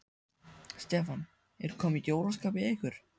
Stefán: Er komið jólaskap í ykkur?